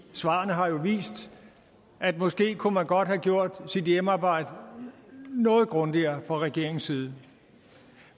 svarene har jo vist at måske kunne man godt have gjort sit hjemmearbejde noget grundigere fra regeringens side